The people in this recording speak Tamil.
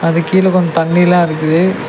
அதுக்கு கீழ கொஞ்சோ தண்ணிலா இருக்குது.